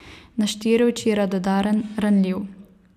Na štiri oči radodaren, ranljiv.